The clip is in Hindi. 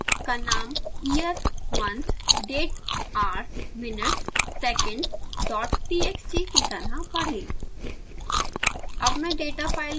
डेटाफाइल का नाम year month date hours minutes seconds dot txt कि तरह पढ़ें